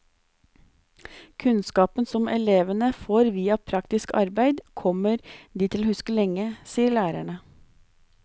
Kunnskapen som elevene får via praktisk arbeid kommer de til å huske lenge, sier lærerne.